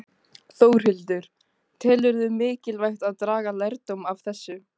Þórhildur: Telurðu mikilvægt að draga lærdóm af þessu?